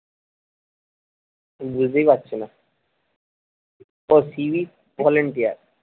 আমি বুঝতেই পারছি না ও civic volentier